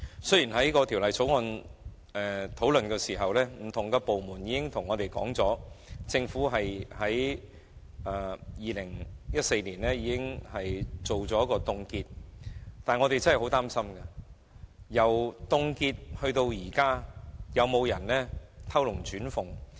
雖然在《條例草案》的商議過程中，不同的部門均表明政府已於2014年進行凍結，但我們真的很擔心，因為由凍結至今，究竟有沒有人偷龍轉鳳？